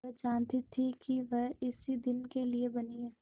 वह जानती थी कि वह इसी दिन के लिए बनी है